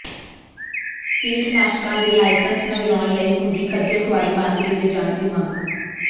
ਕੀਟਨਾਸ਼ਕਾਂ ਦੇ ਲਾਇਸੰਸ ਨਵਿਆਉਣ ਲਈ ਹੁੰਦੀ ਖੱਜਲ ਖ਼ੁਆਰੀ ਬੰਦ ਕੀਤੇ ਜਾਣ ਦੀ ਮੰਗ